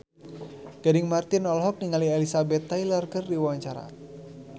Gading Marten olohok ningali Elizabeth Taylor keur diwawancara